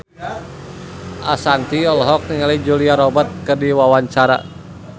Ashanti olohok ningali Julia Robert keur diwawancara